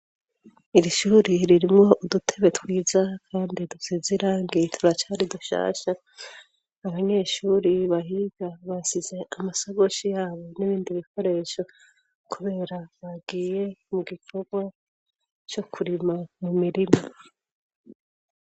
iri shuri ririmwo udutebe twiza kandi dusizirangi turacyari dushasha abanyeshuri bahiga basize amashakoshi yabo n'ibindi bikoresho kubera bagiye mu gikorwa cyo kurima mu mirima